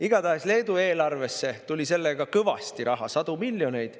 Igatahes tuli Leedu eelarvesse sellega kõvasti raha, sadu miljoneid.